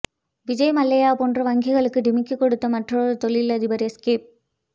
விஜய் மல்லையா போன்று வங்கிகளுக்கு டிமிக்கி கொடுத்த மற்றொரு தொழில் அதிபர் எஸ்கேப்